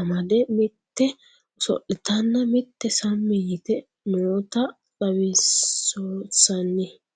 amadde mitte oso'littanna mitte sammi yiitte nootta xawissanno